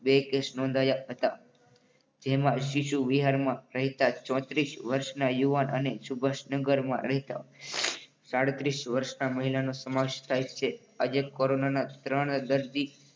બે કેસ નોંધાયા હતા. જેમાં શિશુવિહારમાં રહેતા ચોત્રીસ વર્ષના યુવાનને સુભાષ નગરમાં રહેતા સદત્રીસ વર્ષના મહિલા નો સમાવેશ થાય છે. આજે કોરોનાના ત્રણ દર્દી,